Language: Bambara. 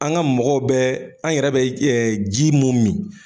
An ka mɔgɔw bɛ an yɛrɛ bɛ ji mun min.